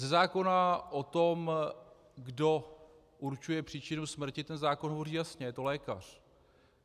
Ze zákona o tom, kdo určuje příčinu smrti - ten zákon hovoří jasně, je to lékař.